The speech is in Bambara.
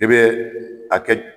I bɛ a kɛ.